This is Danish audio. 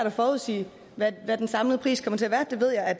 at forudsige hvad den samlede pris kommer til at være det ved jeg at